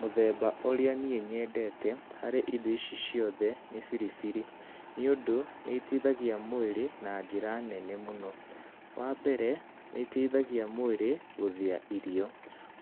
Mũthemba ũrĩa niĩ nyendete harĩ indo ici ciothe, nĩ biribiri. Nĩ ũndũ, nĩ iteithagia mwĩrĩ na njĩra nene mũno. Wa mbere, nĩ iteithagia mwĩrĩ gũthĩa irio,